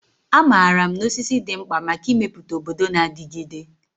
Amaara m na osisi dị mkpa maka ịmepụta obodo na-adigide.